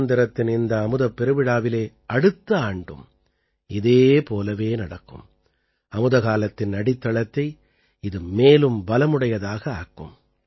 சுதந்திரத்தின் இந்த அமுதப் பெருவிழாவிலே அடுத்த ஆண்டும் இதே போலவே நடக்கும் அமுதகாலத்தின் அடித்தளத்தை இது மேலும் பலமுடையதாக ஆக்கும்